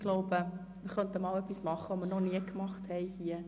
Ich glaube, wir könnten einmal etwas machen, das wir noch nie gemacht haben.